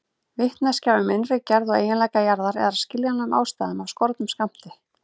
Vitneskja um innri gerð og eiginleika jarðar er af skiljanlegum ástæðum af skornum skammti.